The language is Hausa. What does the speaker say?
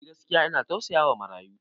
Eh, gaskiya ina tausayawa marayu.